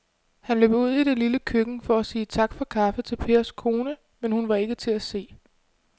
Han løb ud i det lille køkken for at sige tak for kaffe til Pers kone, men hun var ikke til at se.